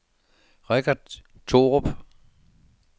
Richard Thorup